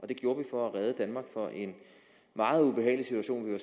det gjorde vi for at redde danmark fra en meget ubehagelig situation vi var